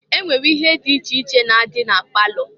E nwere ihe di iche iche na-adị na palọ.